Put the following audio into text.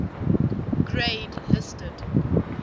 grade listed